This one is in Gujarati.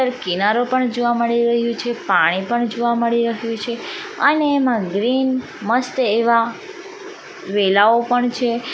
કિનારો પણ જોવા મળી રહ્યું છે પાણી પણ જોવા મળી રહ્યો છે અને એમાં ગ્રીન મસ્ત એવા વેલાઓ પણ છે.